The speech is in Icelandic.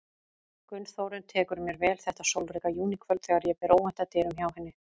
Gunnþórunn tekur mér vel þetta sólríka júníkvöld þegar ég ber óvænt að dyrum hjá henni.